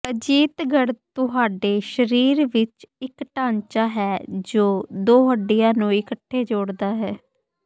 ਅਜੀਤਗੜ੍ਹ ਤੁਹਾਡੇ ਸਰੀਰ ਵਿਚ ਇਕ ਢਾਂਚਾ ਹੈ ਜੋ ਦੋ ਹੱਡੀਆਂ ਨੂੰ ਇਕੱਠੇ ਜੋੜਦਾ ਹੈ